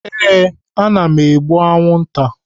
Ee, m na-egbu anwụnta.